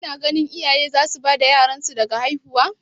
Ki na ganin iyaye za su bar bada yaran su daga haihuwa?